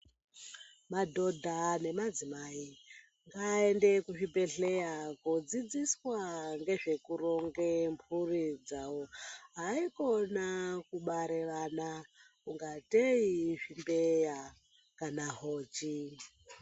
Madhodha nemadzimai ngaende kuzvibhedhlera kudzidziswa nezvekuronga mburi dzawo haikona kubara vana ngatei uri zvimbeya kana hochi.